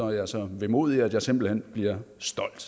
jeg er så vemodig at jeg simpelt bliver stolt